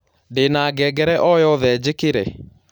ndĩ na ngengere o yothe njĩkĩre